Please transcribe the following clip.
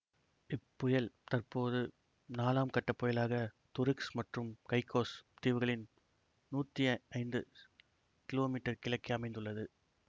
இப்புயல் தற்போது நாலாம் கட்ட புயலாக துருக்ஸ் மற்றும் கைக்கோஸ் தீவுகளின் நூத்தி ஐந்து கிலோமீட்டர் கிழக்கே அமைந்துள்ளது